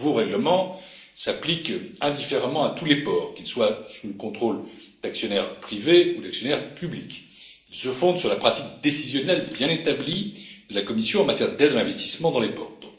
Le nouveau règlement s'applique indifféremment à tous les ports, qu'ils soient sous le contrôle d'actionnaires privés ou d'actionnaires publics. Il se fonde sur la pratique décisionnelle bien établie de la Commission en matière d'aide à l'investissement dans les ports.